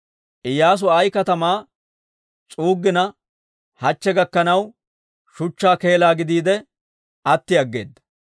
Iyyaasu Ayi katamaa s'uuggina hachche gakkanaw shuchchaa keelaa gidiide atti aggeeda.